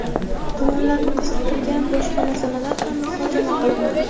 tomonlarni qiziqtirgan boshqa masalalar ham muhokama qilindi.